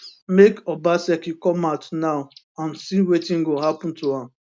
make obaseki come out now and see wetin go happun to am